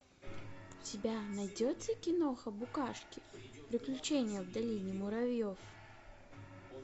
у тебя найдется киноха букашки приключения в долине муравьев